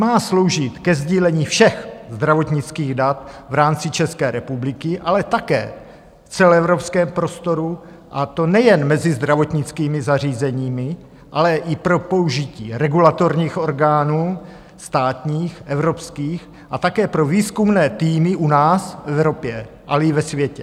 Má sloužit ke sdílení všech zdravotnických dat v rámci České republiky, ale také v celoevropském prostoru, a to nejen mezi zdravotnickými zařízeními, ale i pro použití regulatorních orgánů státních, evropských a také pro výzkumné týmy u nás, v Evropě, ale i ve světě.